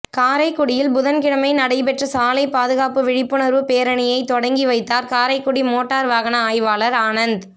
காரைக்குடியில் புதன்கிழமை நடைபெற்ற சாலைப் பாதுகாப்பு விழிப்புணா்வுப் பேரணியை தொடக்கி வைத்தாா் காரைக்குடி மோட்டாா் வாகன ஆய்வாளா் ஆனந்த்